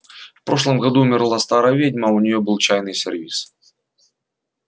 в прошлом году умерла старая ведьма а у неё был чайный сервиз